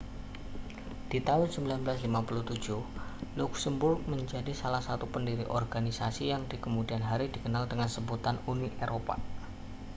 di tahun 1957 luksemburg menjadi salah satu pendiri organisasi yang di kemudian hari dikenal dengan sebutan uni eropa